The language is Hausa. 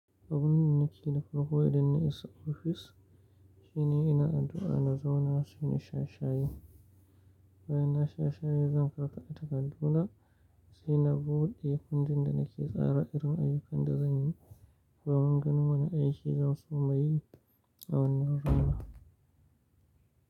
Abun da nake nufi ko idan na issa ofis shi nan ina addu'a na zauna sai in sha share. Bayan na sha share zan karɓa takardu na, sai na buɗe inda da nake tsara irin ayyukan da zan yi bayan ganin wane aiki zan soma yi. A wannan rana.